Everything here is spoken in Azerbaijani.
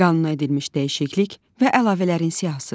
Qanuna edilmiş dəyişiklik və əlavələrin siyahısı.